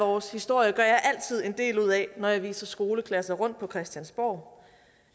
vores historie gør jeg altid en del ud af når jeg viser skoleklasser rundt på christiansborg